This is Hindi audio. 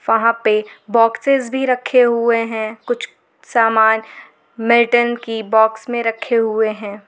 वहां पे बॉक्सेस भी रखे हुए हैं कुछ समान मिल्टन की बॉक्स में रखे हुए हैं।